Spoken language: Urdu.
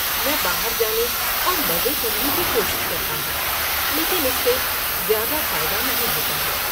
میں باہر جانے اور مزے کرنے کی کوشش کرتا ہوں لیکن اس سے زیادہ فائدہ نہیں ہوتا ہے۔